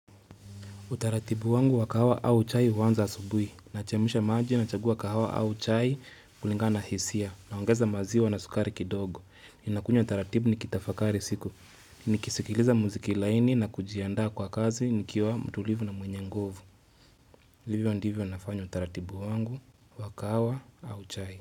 Utaratibu wangu wakahawa au chai huanza asubuhi. Nachemsha maji na chagua kahawa au chai kulingana hisia. Naongeza maziwa na sukari kidogo. Nakunywa utaratibu ni kitafakari siku. Nikisikiliza muziki laini na kujiandaa kwa kazi nikiwa mtulivu na mwenye nguvu. Vivyo ndivyo nafanya utaratibu wangu wa kahawa au chai.